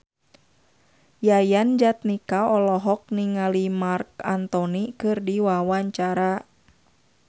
Yayan Jatnika olohok ningali Marc Anthony keur diwawancara